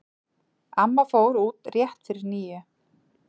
Amma fór út rétt fyrir níu.